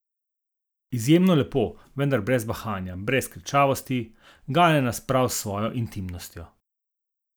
Izjemno lepo, vendar brez bahanja, brez kričavosti, gane nas prav s svojo intimnostjo.